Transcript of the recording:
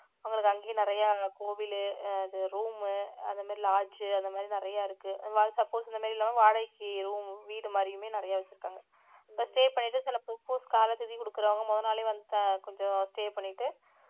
உங்களுக்கு அங்கேயும் நிறைய கோவிலு அஹ் அது room உ அந்த மாதிரி lodge அந்த மாதிரி நிறைய இருக்கு suppose இந்த மாதிரி இல்லாம வாடகைக்கு room வீடு மாதிரியுமே நிறைய வச்சிருக்காங்க இப்ப stay பண்ணிட்டு சில காலை திதி கொடுக்கிறவங்க முதல் நாளே வந்து கொஞ்சம் stay பண்ணிட்டு